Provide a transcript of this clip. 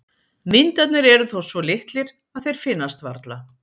Vindarnir eru þó svo litlir að þeir finnast varla.